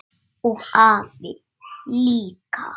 Og afi líka!